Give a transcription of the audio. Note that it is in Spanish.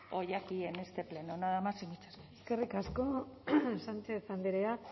hoy aquí en este pleno nada más y muchas eskerrik asko sánchez andrea